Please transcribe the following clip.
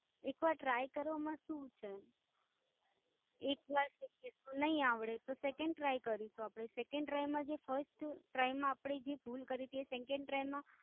એક વાર Tri કરવામાં શું છે? એક વારમાં નાઈ આવડે તો second try કરીશું આપણે, second try માં જે first try માં આપણે ભૂલ કરીથી એ second try માં